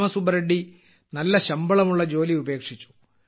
രാമ സുബ്ബ റെഡ്ഡി നല്ല ശമ്പളമുള്ള ജോലി ഉപേക്ഷിച്ചു